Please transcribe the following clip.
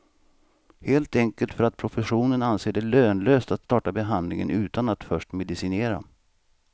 Helt enkelt för att professionen anser det lönlöst att starta behandling utan att först medicinera.